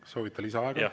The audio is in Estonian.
Kas soovite lisaaega?